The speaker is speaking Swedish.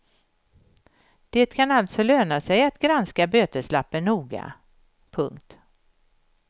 Det kan alltså löna sig att granska böteslappen noga. punkt